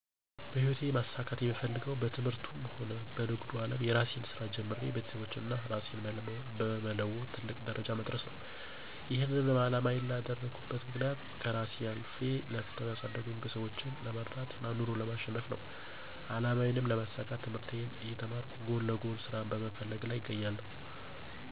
በህይወቴ ማሳካት የምፈልገዉ በትምህርቱም ሆነ በንግዱ አለም የእራሴን ስራ ጀምሬ ቤተሰቦቼን እና እራሴን በመለወጥ ትልቅ ደረጃ መድረስ ነው። ይሄንንም አላማዬ ያደረኩበት ምክንያት ከእራሴ አልፌ ለፍተው ያሳደጉኝን ቤተሰቦቼን ለመርዳት እና ኑሮን ለማቸነፍ ነው። አላማዬንም ለማሳካት ትምህርቴን እየተማርኩ ጎን ለጎን ስራ በመፈለግ ላይ እገኛለሁ።